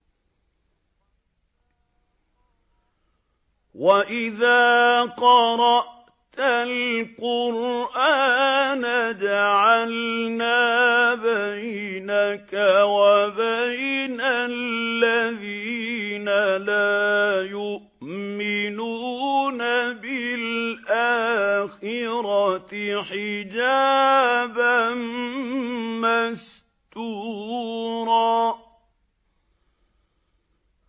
وَإِذَا قَرَأْتَ الْقُرْآنَ جَعَلْنَا بَيْنَكَ وَبَيْنَ الَّذِينَ لَا يُؤْمِنُونَ بِالْآخِرَةِ حِجَابًا مَّسْتُورًا